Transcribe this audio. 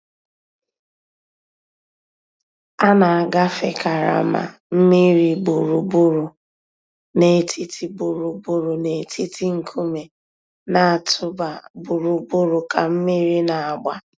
A nà-àgàfé karama mmìrì gbùrùgbùrù nètìtì gbùrùgbùrù nètìtì ńkùmé̀ nà-̀tụ̀bà gbùrùgbùrù kà mmìrì nà-àgbà.